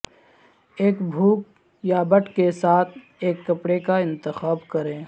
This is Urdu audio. ایک بھوک یا بٹ کے ساتھ ایک کپڑے کا انتخاب کریں